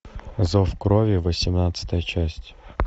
зов крови восемнадцатая часть